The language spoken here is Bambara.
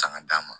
Sanga d'a ma